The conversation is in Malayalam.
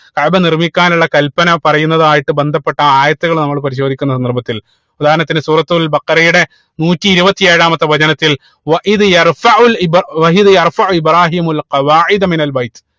കഅബ നിർമിക്കാനുള്ള കൽപ്പന പറയുന്നതായിട്ട് ബന്ധപ്പെട്ട ആയത്തുകൾ നമ്മള് പരിശോധിക്കുന്ന ഉദാഹരണത്തിന് സൂറത്തുൽ ബഖറയുടെ നൂറ്റി ഇരുപത്തി ഏഴാമത്തെ വചനത്തിൽ ഇബ്രാഹീമു